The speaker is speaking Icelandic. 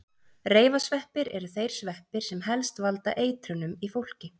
Reifasveppir eru þeir sveppir sem helst valda eitrunum í fólki.